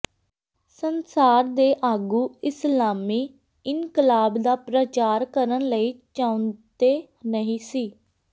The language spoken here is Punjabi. ਸੰਸਾਰ ਦੇ ਆਗੂ ਇਸਲਾਮੀ ਇਨਕਲਾਬ ਦਾ ਪ੍ਰਚਾਰ ਕਰਨ ਲਈ ਚਾਹੁੰਦੇ ਨਹੀ ਸੀ